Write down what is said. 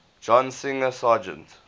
john singer sargent